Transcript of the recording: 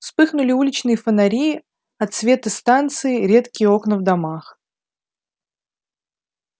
вспыхнули уличные фонари отсветы станции редкие окна в домах